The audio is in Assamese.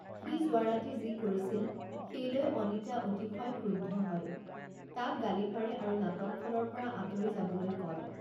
সি যোৱা ৰাতি যি কৰিছিল সেই লৈ অনিতা অতিশয় ক্ৰুদ্ধ হয়, তাক গালি পাৰে আৰু নাটকখনৰ পৰা আঁতৰি যাবলৈ কয়।